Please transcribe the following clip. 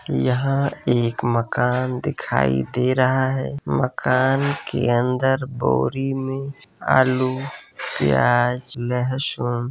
यहाँ एक मकान दिखाई दे रहा है। मकान के अंदर बोरी में आलू प्याज लहसुन --